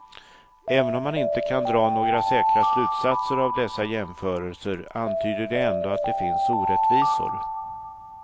Även om man inte kan dra några säkra slutsatser av dessa jämförelser, antyder de ändå att det finns orättvisor.